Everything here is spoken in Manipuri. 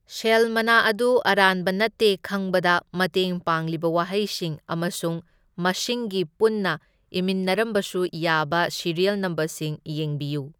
ꯁꯦꯜ ꯃꯅꯥ ꯑꯗꯨ ꯑꯔꯥꯟꯕ ꯅꯠꯇꯦ ꯈꯪꯕꯗ ꯃꯇꯦꯡ ꯄꯥꯡꯂꯤꯕ ꯋꯥꯍꯩꯁꯤꯡ ꯑꯃꯁꯨꯡ ꯃꯁꯤꯡꯒꯤ ꯄꯨꯟꯅ ꯏꯃꯤꯟꯅꯔꯝꯕꯁꯨ ꯌꯥꯕ ꯁꯤꯔꯤꯌꯜ ꯅꯝꯕꯔꯁꯤꯡ ꯌꯦꯡꯕꯤꯌꯨ꯫